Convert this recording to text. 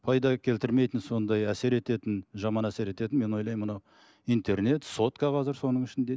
пайда келтірмейтін сондай әсер ететін жаман әсер ететін мен ойлаймын мынау интернет сотка қазір соның ішінде